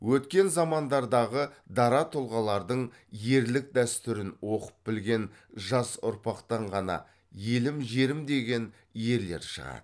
өткен замандардағы дара тұлғалардың ерлік дәстүрін оқып білген жас ұрпақтан ғана елім жерім деген ерлер шығады